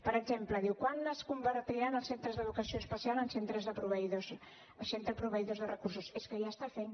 per exemple diu quan es convertiran els centre d’educació especial en centres de proveïdors de recursos és que ja ho estan fent